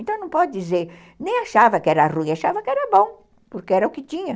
Então, não pode dizer... Nem achava que era ruim, achava que era bom, porque era o que tinha.